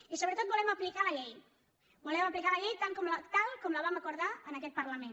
i sobretot volem aplicar la llei volem aplicar la llei tal com la vam acordar en aquest parlament